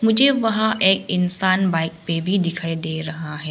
मुझे वहां एक इंसान बाइक पे भी दिखाई दे रहा है।